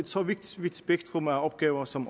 så vidt spektrum af opgaver som